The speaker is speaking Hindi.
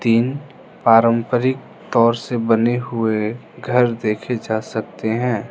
तीन पारंपरिक तौर से बने हुए घर देखे जा सकते हैं।